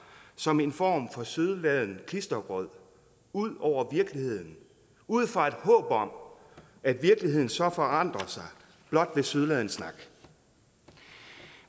som en form for sødladen klistergrød ud over virkeligheden ud fra et håb om at virkeligheden så forandrer sig blot ved sødladen snak